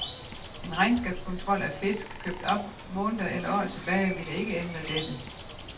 En regnskabskontrol af fisk, købt op måneder eller år tilbage, ville ikke ændre dette.